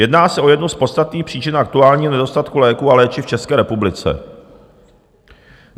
Jedná se o jednu z podstatných příčin aktuálního nedostatku léků a léčiv v České republice.